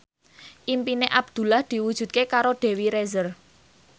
impine Abdullah diwujudke karo Dewi Rezer